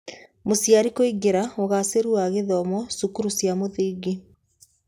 Mũciari kũingĩra, ũgaacĩru wa gĩthomo, cukuru cia mũthingi